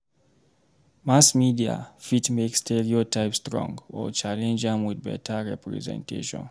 Mass media fit make stereotype strong or challenge am with beta representation.